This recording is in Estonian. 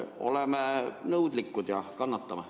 Oleme nõudlikud ja kannatame.